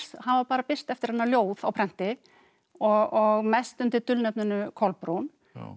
hafa bara birst eftir hana ljóð á prenti og mest undir dulnefninu Kolbrún